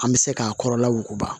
An bɛ se k'a kɔrɔla wuguba